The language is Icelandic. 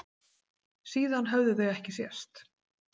Síðan höfðu þau ekki sést.